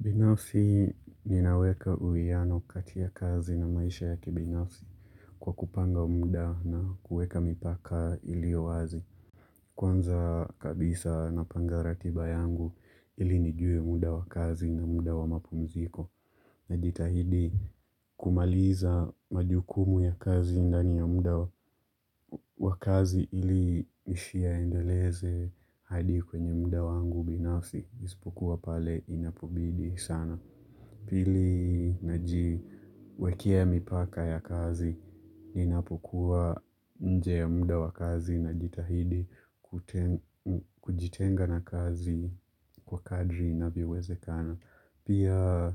Binafsi ninaweka uwiano kati ya kazi na maisha ya kibinafsi kwa kupanga muda na kuweka mipaka iliyo wazi. Kwanza kabisa napanga ratiba yangu ili nijue muda wa kazi na muda wa mapumziko. Najitahidi kumaliza majukumu ya kazi ndani ya muda wa kazi ili nisiyaendeleze hadi kwenye muda wangu binafsi. Isipokuwa pale inapobidi sana. Pili najiwekea mipaka ya kazi, ninapokuwa nje ya muda wa kazi najitahidi kujitenga na kazi kwa kadri inavyowezekana. Pia